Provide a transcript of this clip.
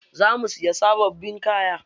Za mu siya sababbin kaya.